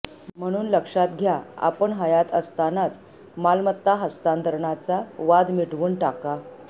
म्हणून लक्षात घ्या आपण हयात असतानाच मालमत्ता हस्तांतरणाचा वाद मिटवून टाका